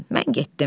Mən getdim.